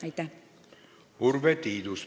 Urve Tiidus, palun!